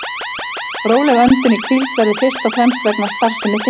Róleg öndun í hvíld verður fyrst og fremst vegna starfsemi þindar.